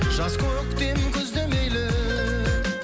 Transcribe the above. жаз көктем күз де мейлі